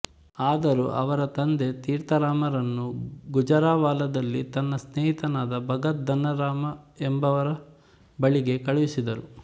ಆದರೂ ಅವರ ತಂದೆ ತೀರ್ಥರಾಮರನ್ನು ಗುಜರಾವಾಲದಲ್ಲಿ ತನ್ನ ಸ್ನೇಹಿತನಾದ ಭಗತ್ ಧನ್ನಾರಾಮ ಎಂಬುವವರ ಬಳಿಗೆ ಕಳುಹಿಸಿದರು